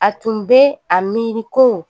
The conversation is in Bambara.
A tun bɛ a miiri ko